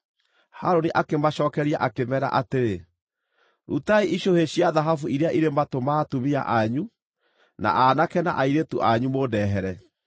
Harũni akĩmacookeria akĩmeera atĩrĩ, “Rutai icũhĩ cia thahabu iria irĩ matũ ma atumia anyu, na aanake na airĩtu anyu mũndehere.”